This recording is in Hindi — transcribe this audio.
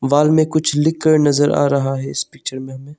वाल में कुछ लिखकर नजर आ रहा है इस पिक्चर में हमें।